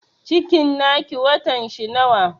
Cikin na ki watan shi nawa?